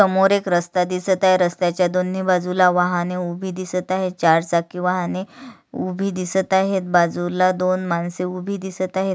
समोर एक रस्ता दिसत आहे रस्ताच्या दोन्ही बाजूला वाहने उभे दिसत आहेत चार चाकी वाहने उभी दिसत आहेत बाजूला दोन माणसे उभी दिसत आहेत.